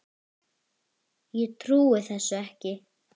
Ég trúi þessu ekki